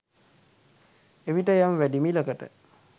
එවිට යම් වැඩි මිලකට